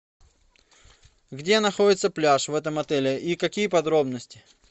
где находится пляж в этом отеле и какие подробности